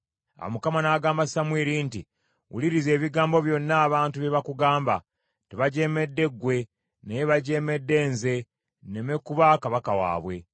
Awo Mukama n’agamba Samwiri nti, “Wuliriza ebigambo byonna abantu bye bakugamba. Tebajeemedde ggwe, naye bajeemedde nze nneme kuba kabaka waabwe.